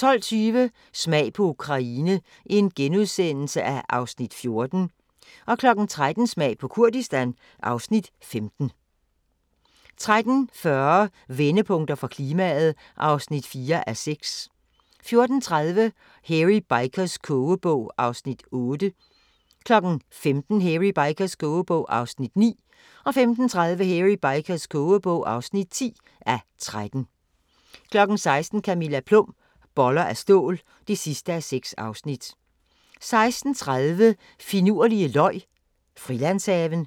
12:20: Smag på Ukraine (Afs. 14)* 13:00: Smag på Kurdistan (Afs. 15) 13:40: Vendepunkter for klimaet (4:6) 14:30: Hairy Bikers kogebog (8:13) 15:00: Hairy Bikers kogebog (9:13) 15:30: Hairy Bikers kogebog (10:13) 16:00: Camilla Plum – Boller af stål (6:6) 16:30: Finurlige løg Frilandshaven